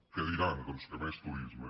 què diran doncs que més turisme